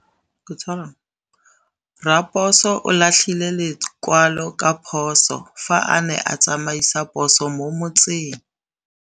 Raposo o latlhie lekwalô ka phosô fa a ne a tsamaisa poso mo motseng.